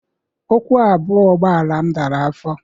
Ụkwụ abụọ ụgbọala m dara afọ.